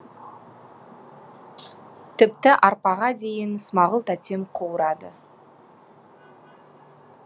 тіпті арпаға дейін смағұл тәтем қуырады